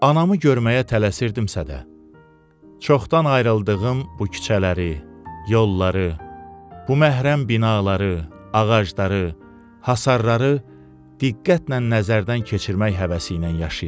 Anamı görməyə tələsirdimsə də, çoxdan ayrıldığım bu küçələri, yolları, bu məhrəm binaları, ağacları, hasarları diqqətlə nəzərdən keçirmək həvəsi ilə yaşayırdım.